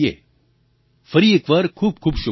ફરી એક વાર ખૂબખૂબ શુભકામનાઓ